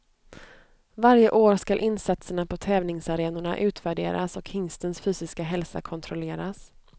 Varje år skall insatserna på tävlingsarenorna utvärderas och hingstens fysiska hälsa kontrolleras.